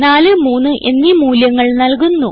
43 എന്നീ മൂല്യങ്ങൾ നൽകുന്നു